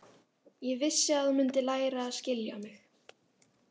Ég vissi að þú mundir læra að skilja mig.